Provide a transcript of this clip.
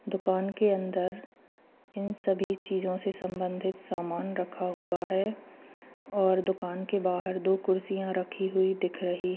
दुकान के अंदर इन सभी चीजों से संबंधित सामान रखा हुआ है और दुकान के बाहर दो कुर्सियां रखी हुई दिख रही--